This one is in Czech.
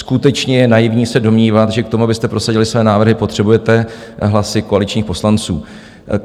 Skutečně je naivní se domnívat, že k tomu, abyste prosadili své návrhy, potřebujete hlasy koaličních poslanců.